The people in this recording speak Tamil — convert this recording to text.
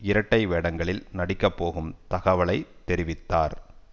இரட்டை வேடங்களில் நடிக்க போகும் தகவலை தெரிவித்தார்